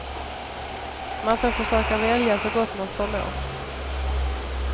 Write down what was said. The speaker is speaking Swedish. Man får försöka välja så gott man förmår.